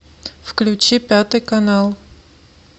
включи пятый канал